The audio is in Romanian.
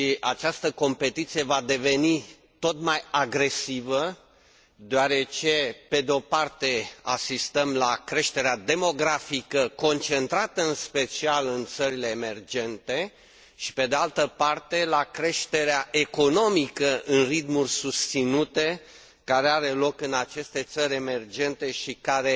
Această competiție va deveni tot mai agresivă deoarece, pe o parte, asistăm la creșterea demografică, concentrată în special în țările emergente și, pe de altă parte, la creșterea economică în ritmuri susținute care are loc în aceste țări emergente și care